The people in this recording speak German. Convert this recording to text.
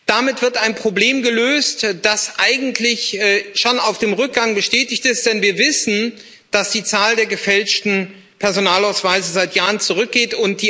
Damit wird ein Problem gelöst, das eigentlich schon auf dem Rückgang ist, denn wir wissen, dass die Zahl der gefälschten Personalausweise seit Jahren zurückgeht.